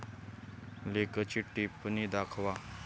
लेखची टिपण्णी दाखवा